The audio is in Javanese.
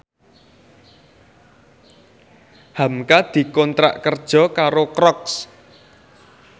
hamka dikontrak kerja karo Crocs